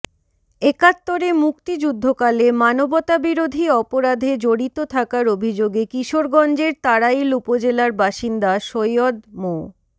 একাত্তরে মুক্তিযুদ্ধকালে মানবতাবিরোধী অপরাধে জড়িত থাকার অভিযোগে কিশোরগঞ্জের তাড়াইল উপজেলার বাসিন্দা সৈয়দ মো